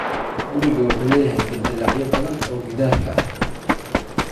Gurigu wuxuu leeyahay dildilaacyo badan oo gidaarka ah.